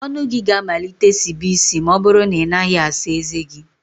ọnụ gị ga-amalite sibe isi ma ọ bụrụ na ị naghị asa ezé gị